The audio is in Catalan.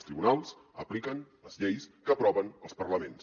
els tribunals apliquen les lleis que aproven els parlaments